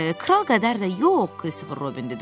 Kral qədər də yox,” Kristofer Robin dedi.